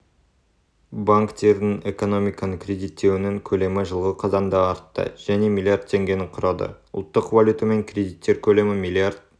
банктердің экономиканы кредиттеуінің көлемі жылғы қазанда артты және млрд теңгені құрады ұлттық валютамен кредиттер көлемі млрд